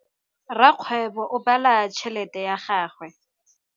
Rakgwêbô o bala tšheletê ya gagwe.